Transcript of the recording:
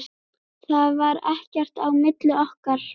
Það var ekkert á milli okkar.